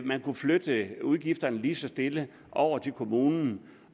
man kunne flytte udgifterne lige så stille over til kommunen